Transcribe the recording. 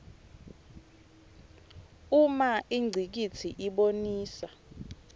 uma ingcikitsi ibonisa